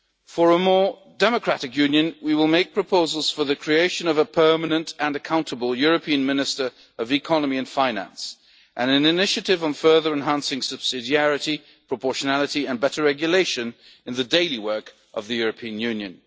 terrorism. For a more democratic Union, we will make proposals for the creation of a permanent and accountable European Minister of Economy and Finance and an initiative on further enhancing subsidiarity, proportionality and better regulation in the daily work of the European